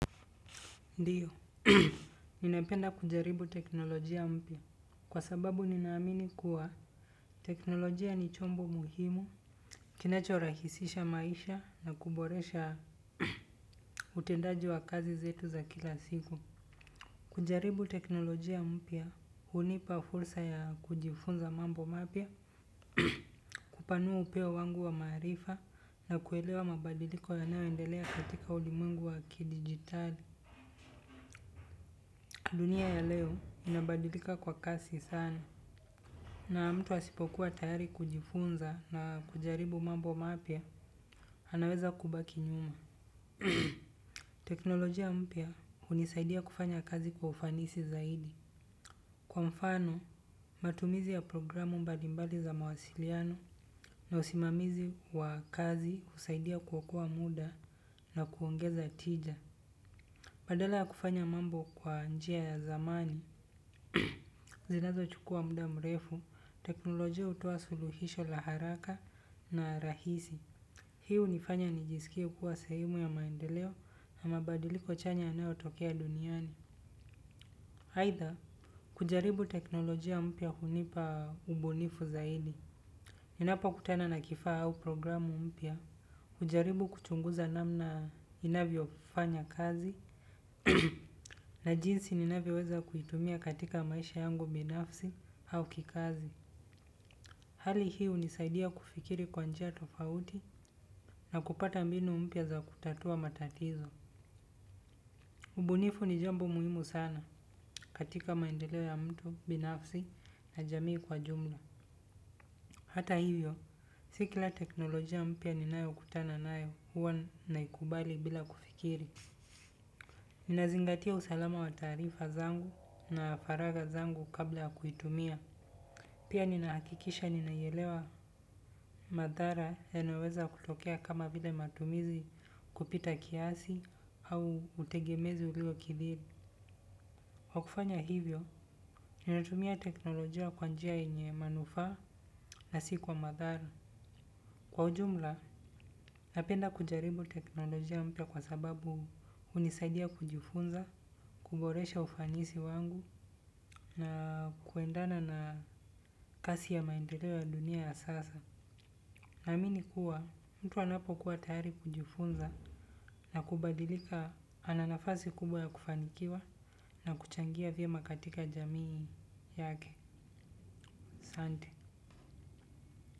Ndiyo, ninapenda kujaribu teknolojia mpia kwa sababu ninaamini kuwa teknolojia ni chombo muhimu, kinacho rahisisha maisha na kuboresha utendaji wa kazi zetu za kila siku. Kujaribu teknolojia mpia, unipa fulsa ya kujifunza mambo mapia, kupanua upeo wangu wa marifa na kuelewa mabadiliko yanao endelea katika ulimuengu wa kidigitali. Dunia ya leo inabadilika kwa kasi sana. Na mtu asipokuwa tayari kujifunza na kujaribu mambo mapia, anaweza kubaki nyuma. Teknolojia mpia unisaidia kufanya kazi kwa ufanisi zaidi. Kwa mfano, matumizi ya programu mbalimbali za mawasiliano na usimamizi wa kazi usaidia kwa kuwokoa muda na kuongeza tija. Badala kufanya mambo kwa njia ya zamani, zinazo chukua muda mrefu, teknolojia utowa suluhisho laharaka na rahisi. Hiu nifanya nijisikie kua sahemu ya maendeleo na mabadiliko chanya yanayo tokea duniani. Haitha, kujaribu teknolojia mpia hunipa ubunifu zaidi. Ninapokutana na kifaa au programu mpia kujaribu kuchunguza namna inavyo fanya kazi. Na jinsi ninavioweza kuitumia katika maisha yangu binafsi au kikazi. Hali hiu nisaidia kufikiri kwanjia tofauti na kupata mbinu mpia za kutatua matatizo. Ubunifu ni jambo muhimu sana katika maendeleo ya mtu binafsi na jamii kwa jumla. Hata hivyo, sikila teknolojia mpia ninayo kutana nayo huwa naikubali bila kufikiri. Ninazingatia usalama wa tarifa zangu na faraga zangu kabla kuitumia. Pia ninaakikisha ninayelewa madhara yanayoweza kutokea kama vile matumizi kupita kiasi au utegemezi ulio kidhiri. Wakufanya hivyo, ninatumia teknolojia kwanjia enye manufa na si kwa madhara. Kwa ujumla napenda kujaribu teknolojia mpia kwa sababu hunisaidia kujifunza kuboresha ufanisi wangu na kuendana na kasi ya maendelo ya dunia ya sasa. Na minikuwa, mtu anapo kuwa tayari kujifunza na kubadilika ananafazi kubwa ya kufanikiwa na kuchangia vyema katika jamii yake, sante.